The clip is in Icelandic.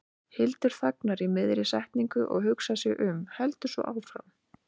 Hildur þagnar í miðri setningu og hugsar sig um, heldur svo áfram